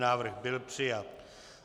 Návrh byl přijat.